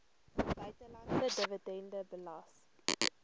buitelandse dividende belas